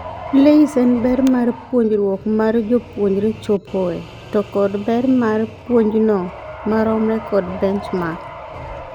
LAYS en ber mar puonjruok mar jopuonjre chopoe to kod ber mar puonjno maromre kod benchmark.